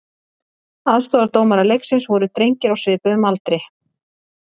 Aðstoðardómarar leiksins voru drengir á svipuðum aldri.